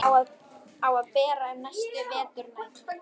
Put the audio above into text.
Á að bera um næstu veturnætur.